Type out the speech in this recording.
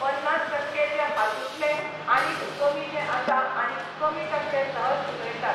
पन्नास टक्के जे हातुंतले आनीक कमी जे आसा आनी कमी टक्के सहज उलयतात